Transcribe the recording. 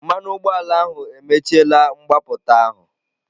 Mmanụ ụgbọala ahụ emechiela mgbapụta ahụ.